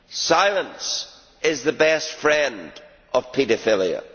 Silence is the best friend of paedophilia.